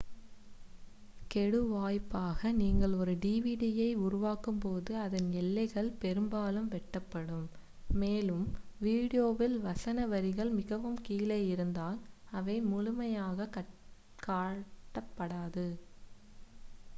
கெடுவாய்ப்பாக நீங்கள் ஒரு டிவிடியை உருவாக்கும்போது அதன் எல்லைகள் பெரும்பாலும் வெட்டப்படும் மேலும் வீடியோவில் வசன வரிகள் மிகவும் கீழே இருந்தால் அவை முழுமையாகக் காட்டப்படாது